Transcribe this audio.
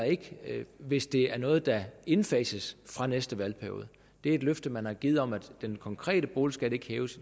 hvis det er noget der indfases fra næste valgperiode det er et løfte man har givet om at den konkrete boligskat ikke hæves